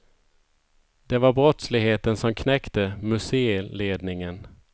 Det var brottsligheten som knäckte museiledningen.